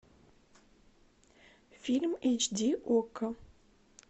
фильм эйч ди окко